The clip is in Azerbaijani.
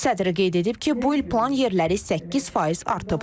Sədr qeyd edib ki, bu il plan yerləri 8% artıb.